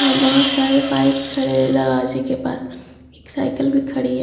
और बहुत सारे बाइक खड़े हैं दरवाजे के पास एक साइकिल भी खड़ी है।